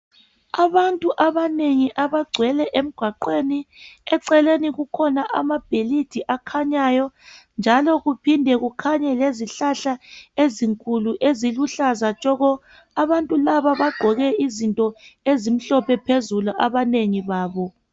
Abantu abanengi abagcwele emgwaqweni eceleni kulamabhilidi akhanyayo njalo kuphinde kukhanye lezihlahla ezinkulu eziluhlaza tshoko abantu laba bagqoke izinto ezimhlophe phezulu abanengi babo.